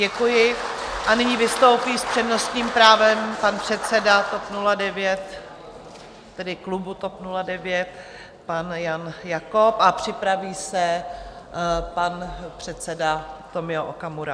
Děkuji a nyní vystoupí s přednostním právem pan předseda klubu TOP 09 pan Jan Jakob a připraví se pan předseda Tomio Okamura.